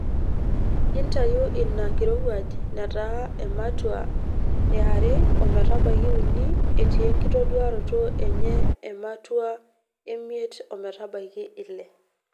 Ore ina kirowuaj netaa ematua yare ometabaiki uni etii enkitoduaroto enye ematua emiet ometabaiki ile.